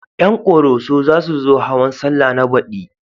Ƴan ƙoroso za su zo hawan sallah na baɗi